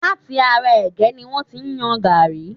Láti ará ẹ̀gẹ́ ni wọ́n ti yọ gaàrí.